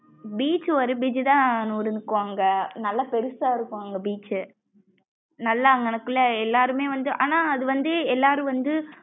beach ஒரு beach தான் அனு இருக்கும் அங்க நல்லா பெருசா இருக்கும் அங்க beach நல்லா அங்குனகுள்ள எல்லாரும்மே வந்து ஆனா அது வந்து எல்லாரும் வந்து.